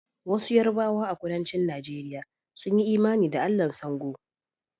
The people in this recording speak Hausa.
Wasu Yarbawa a Kudancin Najeriya sun yi imani da Allahn Sango